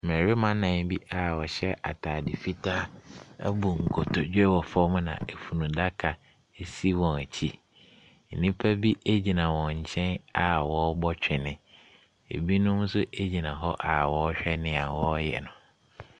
Mmarima nan bi a wɔhyɛ ataade fitaa abu nkotodwe na funu daka si wɔn akyi. Nnipa bigyina wɔn nkyen a wɔrebɔ twene. Ebi nso gyina hɔ a wɔrehwɛ nea wɔreyɛ.